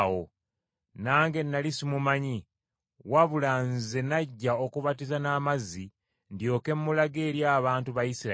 Nange nnali simumanyi, wabula nze najja okubatiza n’amazzi, ndyoke mulage eri abantu ba Isirayiri.”